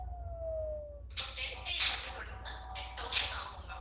இப்போ ten days அப்படின்னா வந்து ten thousand ஆகும் ma'am